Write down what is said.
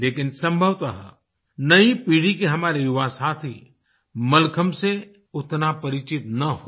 लेकिन संभवतः नई पीढ़ी के हमारे युवा साथी मलखम्ब से उतना परिचित ना हों